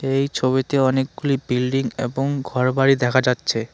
এই ছবিতে অনেকগুলি বিল্ডিং এবং ঘর বাড়ি দেখা যাচ্ছে।